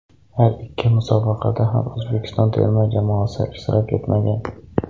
Har ikki musobaqada ham O‘zbekiston terma jamoasi ishtirok etmagan.